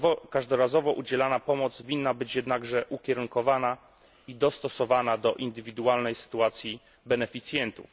Każdorazowo udzielana pomoc winna być jednakże ukierunkowana i dostosowana do indywidualnej sytuacji beneficjentów.